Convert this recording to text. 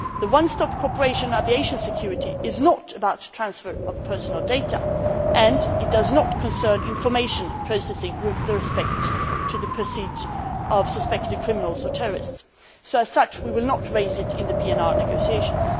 The one stop cooperation aviation security is not about transfer of personal data and it does not concern information processing with respect to the pursuit of suspected criminals or terrorists, so as such, we will not raise it in the PNR negotiations.